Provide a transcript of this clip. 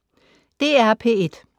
DR P1